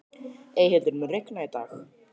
Eyhildur, mun rigna í dag?